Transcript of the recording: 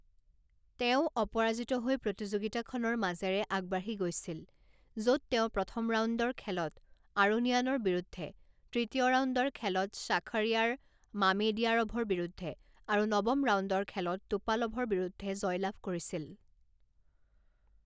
তেওঁ অপৰাজিত হৈ প্ৰতিযোগিতাখনৰ মাজেৰে আগবাঢ়ি গৈছিল, য'ত তেওঁ প্ৰথম ৰাউণ্ডৰ খেলত আৰোনিয়ানৰ বিৰুদ্ধে, তৃতীয় ৰাউণ্ডৰ খেলত শ্বাখৰিয়াৰ মামেডিয়াৰভৰ বিৰুদ্ধে আৰু নৱম ৰাউণ্ডৰ খেলত টোপালভৰ বিৰুদ্ধে জয়লাভ কৰিছিল।